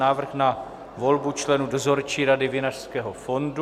Návrh na volbu členů Dozorčí rady Vinařského fondu